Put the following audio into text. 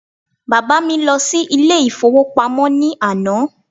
Bàbá mi lọ sí ilé ìfowópamọ́ ní àná